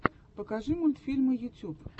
покажи мультфильмы ютьюб